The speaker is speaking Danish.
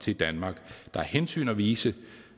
til danmark der er hensyn at vise